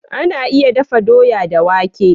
Ana iya dafa doya da wake.